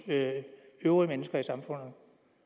øvrige mennesker i samfundet